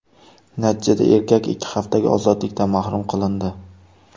Natijada erkak ikki haftaga ozodlikdan mahrum qilindi.